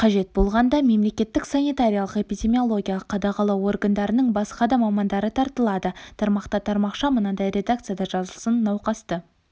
қажет болғанда мемлекеттік санитариялық-эпидемиологиялық қадағалау органдарының басқа да мамандары тартылады тармақта тармақша мынадай редакцияда жазылсын науқасты